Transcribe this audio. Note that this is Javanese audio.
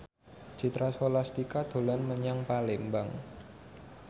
Citra Scholastika dolan menyang Palembang